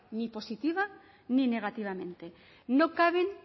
ni positiva ni negativamente no caben